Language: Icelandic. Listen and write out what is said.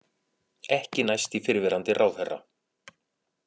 Ekki næst í fyrrverandi ráðherra